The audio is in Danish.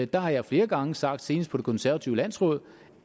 der har jeg flere gange sagt senest på det konservative landsråd